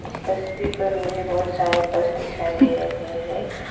स तस्वीर पर मुझे बहुत सारे बस दिखाई दे रहे हैं।